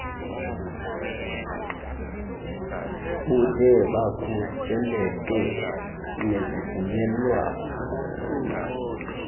bude bukhuseleke nezivumelwano